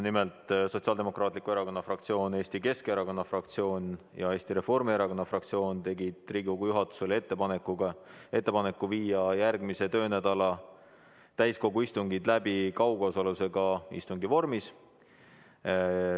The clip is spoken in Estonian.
Nimelt, Sotsiaaldemokraatliku Erakonna fraktsioon, Eesti Keskerakonna fraktsioon ja Eesti Reformierakonna fraktsioon tegid Riigikogu juhatusele ettepaneku viia järgmise töönädala täiskogu istungid läbi kaugosalusega istungi vormis.